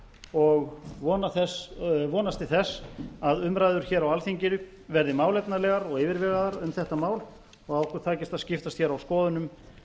og vonast til þess að umræður hér á alþingi verði málefnalegar og yfirvegaðar um þetta mál og að okkur takist að skiptast hér á skoðunum